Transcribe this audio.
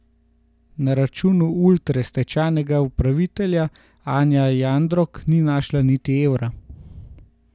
Na računu Ultre stečajna upraviteljica Anja Jandrok ni našla niti evra.